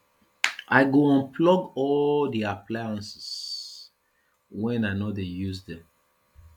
i go unplug all di appliances wen i no dey use dem